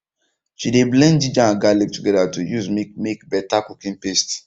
she de blend ginger and garlic together to use make make better cooking paste